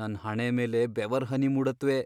ನನ್ ಹಣೆ ಮೇಲೆ ಬೆವರ್ಹನಿ ಮೂಡತ್ವೆ.